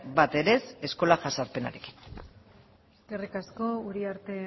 bat ere ez eskola jazarpenarekin eskerrik asko uriarte